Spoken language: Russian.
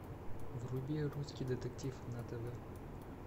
вруби русский детектив на тв